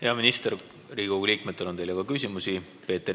Hea minister, Riigikogu liikmetel on teile ka küsimusi.